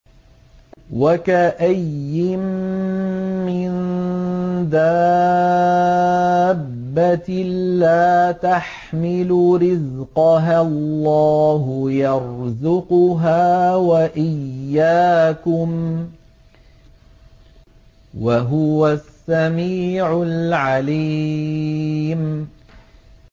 وَكَأَيِّن مِّن دَابَّةٍ لَّا تَحْمِلُ رِزْقَهَا اللَّهُ يَرْزُقُهَا وَإِيَّاكُمْ ۚ وَهُوَ السَّمِيعُ الْعَلِيمُ